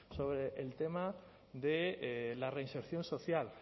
sobre el tema de la reinserción social